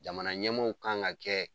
Jamana ɲɛmaaw kan ka kɛ